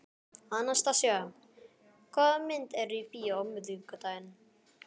Anastasía, hvaða myndir eru í bíó á miðvikudaginn?